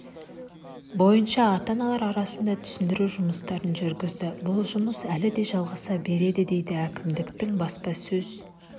бойынша ата-аналар арасында түсіндіру жұмыстарын жүргізді бұл жұмыс әлі де жалғаса береді дейді әкімдіктің баспасөз